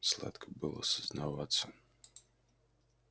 сладко было сознаваться